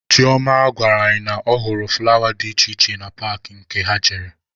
Chioma gwara anyị na ọ hụrụ fụlawa dị iche iche na paakị nke ha jere.